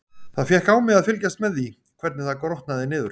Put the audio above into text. Það fékk á mig að fylgjast með því, hvernig það grotnaði niður.